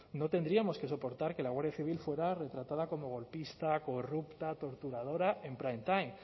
no tendríamos que soportar que la guardia civil fuera retratada como golpista corrupta torturadora en prime time